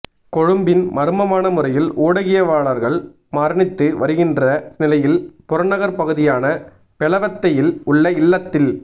கொழும்பின் மர்மமான முறையில் ஊடகிவயலாளர்கள் மரணித்து வருகின்ற நிலையில் புறநகர்ப்பகுதியான பெலவத்தையில் உள்ள இல்லத்தில்